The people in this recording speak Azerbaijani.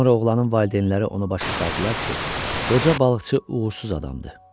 Sonra oğlanın valideynləri onu başa saldılar ki, qoca balıqçı uğursuz adamdır.